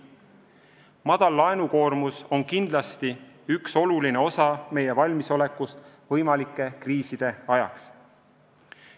Madal laenukoormus on kindlasti üks oluline osa meie valmisolekust võimalikeks kriisideks.